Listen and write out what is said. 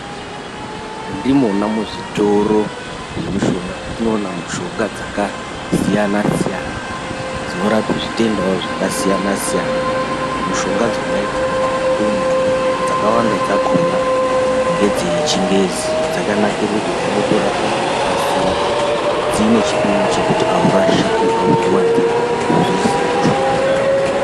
Ndimona muzvitoro zvemushonga mwetinoona mushonga dzakasiyana-siyana, dzinorape zvitendawo zvakasiyana-siyana. Mishonga dzona dzinooneka umu dzakawanda dzakhona ngedzechingezi, dzakanakira kuti dzinotorapa ngekukasira dziine chipimo chekuti aurashiki auzviwanziri kana kuzviisire mushoma.